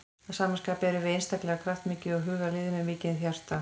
Að sama skapi erum við einstaklega kraftmikið og hugað lið með mikið hjarta.